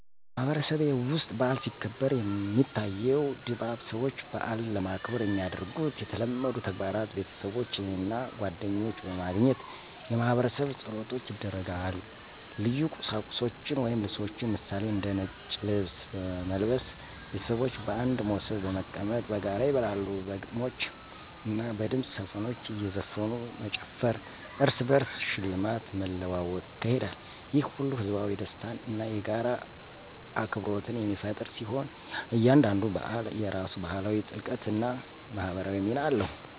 በማህበረሰቤ ውስጥ በዓል ሲከበር፣ የሚታየው ድባብ ሰዎች በዓልን ለማክበር የሚያደርጉት የተለመዱ ተግባራት ቤተሰቦች እና ጓደኞች በማግኘት የማህበረሰብ ጸሎቶች ይደረጋል ልዩ ቀሚሶችን ወይም ልብሶችን ምሳሌ፦ እንደ ነጭ ልብስ በመልበስ ቤተሰቦች በአንድ ሞሰብ በመቀመጥ በጋራ ይበላሉ በግጥሞች እና በድምፅ ዘፈኖች እዘፈኑ መጨፈር እርስ በርስ ሽልማት መለዋወጥ ይካሄዳል። ይህ ሁሉ ህዝባዊ ደስታን እና የጋራ አክብሮትን የሚፈጥር ሲሆን፣ እያንዳንዱ በዓል የራሱ ባህላዊ ጥልቀት እና ማህበራዊ ሚና አለው።